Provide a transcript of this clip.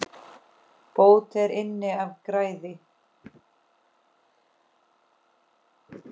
Bót er inn af græði.